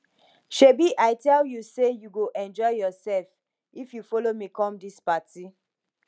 shebi i tell you say you go enjoy yourself if you follow me come dis party